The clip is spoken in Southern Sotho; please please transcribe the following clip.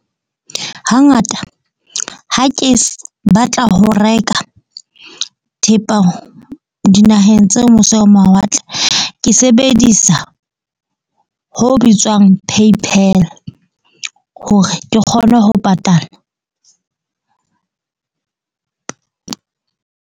Hangata ha ke batla ho reka thepa dinaheng tse mose ho mawatle, ke sebedisa ho bitswang Paypal hore ke kgone ho patala.